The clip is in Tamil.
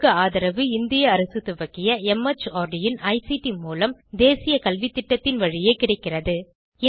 இதற்கு ஆதரவு இந்திய அரசு துவக்கிய மார்ட் இன் ஐசிடி மூலம் தேசிய கல்வித்திட்டத்தின் வழியே கிடைக்கிறது